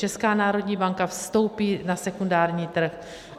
Česká národní banka vstoupí na sekundární trh.